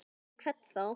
Fyrir hvern þá?